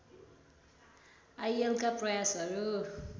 आईएलका प्रयासहरू